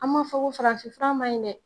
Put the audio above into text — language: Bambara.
An m'a fɔ ko farafin fura ma ɲin dɛ!